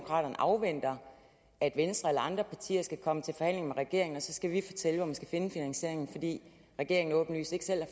afventer at venstre eller andre partier skal komme til forhandlinger med regeringen og så skal vi fortælle hvor man skal finde finansieringen fordi regeringen åbenlyst ikke selv